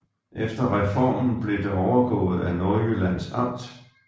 Efter reformen blev det overgået af Nordjyllands Amt